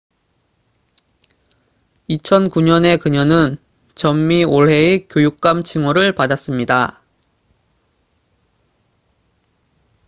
2009년에 그녀는 전미 올해의 교육감 칭호를 받았습니다